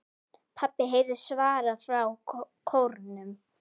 PABBI heyrist svarað frá kórnum.